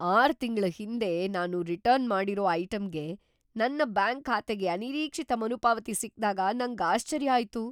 ಆರು ತಿಂಗ್ಳ ಹಿಂದೆ ನಾನು ರಿಟರ್ನ್ ಮಾಡಿರೋ ಐಟಂಗೆ ನನ್ ಬ್ಯಾಂಕ್ ಖಾತೆಗೆ ಅನಿರೀಕ್ಷಿತ ಮರುಪಾವತಿ ಸಿಕ್ದಾಗ ನಂಗ್ ಆಶ್ಚರ್ಯ ಆಯ್ತು.